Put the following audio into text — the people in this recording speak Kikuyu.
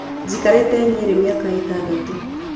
Njikarĩte Nyeri mĩaka ĩtandatũ.